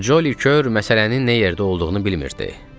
Joli Kür məsələnin nə yerdə olduğunu bilmirdi.